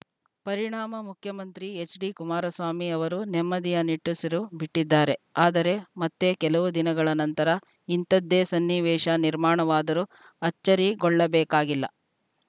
ಪರಿಣಾಮ ಮುಖ್ಯಮಂತ್ರಿ ಎಚ್‌ಡಿಕುಮಾರಸ್ವಾಮಿ ಅವರು ನೆಮ್ಮದಿಯ ನಿಟ್ಟುಸಿರು ಬಿಟ್ಟಿದ್ದಾರೆ ಆದರೆ ಮತ್ತೆ ಕೆಲವು ದಿನಗಳ ನಂತರ ಇಂಥದ್ದೇ ಸನ್ನಿವೇಶ ನಿರ್ಮಾಣವಾದರೂ ಅಚ್ಚರಿಗೊಳ್ಳಬೇಕಾಗಿಲ್ಲ